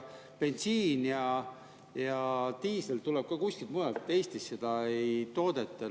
Bensiin ja diisel tulevad ka kusagilt mujalt, Eestis neid ei toodeta.